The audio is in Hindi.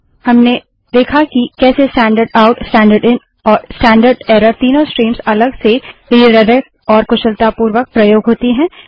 हमने देखा कि कैसे standard out standard in standard error तीनों स्ट्रीम्स अलग से रिडाइरेक्ट और कुशलतापूर्वक प्रयोग होती हैं